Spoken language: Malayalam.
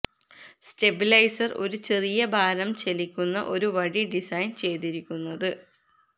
സ്റ്റെബിലൈസർ ഒരു ചെറിയ ഭാരം ചലിക്കുന്ന ഒരു വടി ഡിസൈൻ ചെയ്തിരിക്കുന്നത്